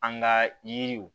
An ka yiriw